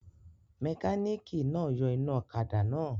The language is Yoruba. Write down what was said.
Mẹkánìkì náà yọ iná ọ̀kadà náà